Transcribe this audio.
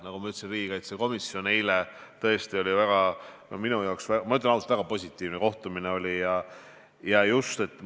Nagu ma ütlesin, eile oli mul väga positiivne kohtumine riigikaitsekomisjonis – ütlen ausalt.